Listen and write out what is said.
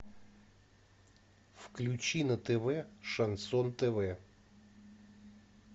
включи на тв шансон тв